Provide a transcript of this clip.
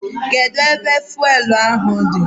Kedu ebe fụelụ ahụ dị?